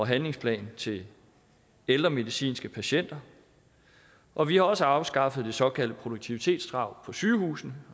handlingsplan til ældremedicinske patienter og vi har også afskaffet det såkaldte produktivitetskrav på sygehusene